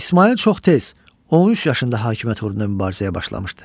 İsmayıl çox tez, 13 yaşında hakimiyyət uğrunda mübarizəyə başlamışdı.